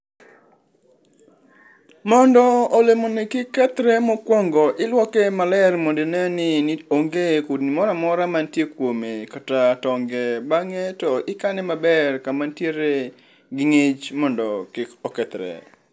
Mondo olemoni kik kethre mokuongo iluoke maler mondo ineni onge kudni moro mora mantie kuome kata tonge bange to ikane maber kama nitiere gi ngich mondo kik okethre